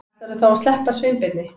Ætlarðu þá að sleppa Sveinbirni?